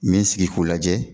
Me n sigi k'u lajɛ